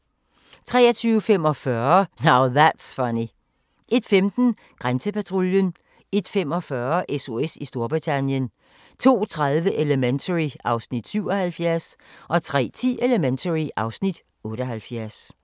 23:45: Now That's Funny 01:15: Grænsepatruljen 01:45: SOS i Storbritannien 02:30: Elementary (Afs. 77) 03:10: Elementary (Afs. 78)